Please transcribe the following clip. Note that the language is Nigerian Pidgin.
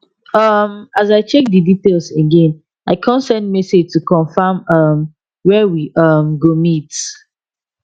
um as i check the details again i con send message to confirm um where we um go meet